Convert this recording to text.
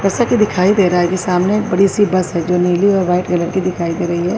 جیسا کہ دکھائی رہا ہے کہ سامنے ایک بڑی سی بس ہے جو نیلی اور وائٹ کلر کی دکھائی دے رہی ہے۔